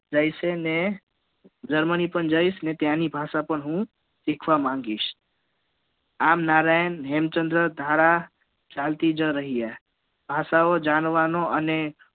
germani પણ જઈશ અને ત્યાંની ભાષા પણ હુ સીખવા માંગીશ આમ નારાયણ હેમચંદ્ર ધારા ચાલતી જ રહી આ સૌ જાણવા નો અને